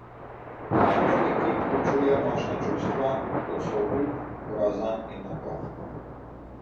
Marmorni kip vključuje močna čustva, kot so obup, groza in napor.